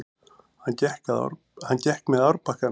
Hann gekk með árbakkanum.